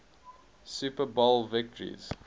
super bowl victories